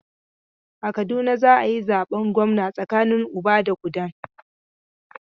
A Kaduna za a yi zaben gwamna tsakanin Uba da Kudan.